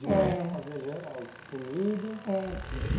É De manhã ia fazer jan eh comida. É